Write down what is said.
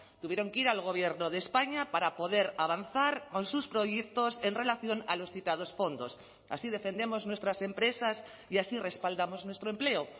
tuvieron que ir al gobierno de españa para poder avanzar con sus proyectos en relación a los citados fondos así defendemos nuestras empresas y así respaldamos nuestro empleo